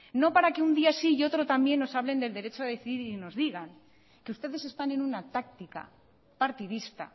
no para que un día sí y otro también nos hablen del derecho a decidir y nos digan que ustedes están en una táctica partidista